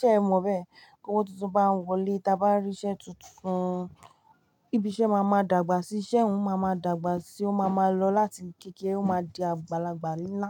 ṣẹ́ ẹ mọ̀ bẹ́ẹ̀? Tówó tuntun bá ń wọlé, ti a bá rí iṣẹ́ tuntun, ibi iṣẹ́ máa ma dàgbà síi, iṣẹ́ ọ̀hún ma máa dàgbà síi, ó máa ma lọ láti ibi kékeré ó máa di àgbàlagbà ńlá.